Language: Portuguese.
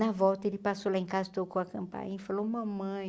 Na volta, ele passou lá em casa, tocou a campainha e falou, mamãe,